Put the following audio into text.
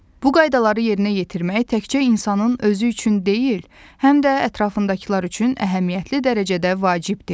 Bu qaydaları yerinə yetirmək təkcə insanın özü üçün deyil, həm də ətrafındakılar üçün əhəmiyyətli dərəcədə vacibdir.